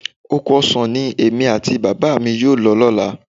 Oko ọsàn ni èmi àti Bàbá mi yóò lọ lọ́la